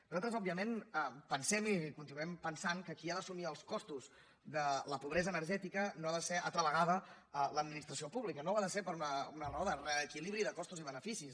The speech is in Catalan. nosaltres òbviament pensem i continuem pensat que qui ha d’assumir els costos de la pobresa energètica no ha de ser altra vegada l’administració pública no ho ha de ser per una raó de reequilibri de costos i beneficis